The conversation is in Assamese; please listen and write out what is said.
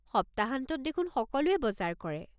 সপ্তাহান্তত দেখোন সকলোৱে বজাৰ কৰে।